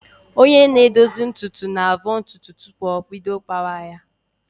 Onye na-edozi ntutu na-avọ ntutu tupu o bido kpawa ya